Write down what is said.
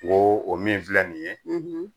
N ko o min filɛ nin ye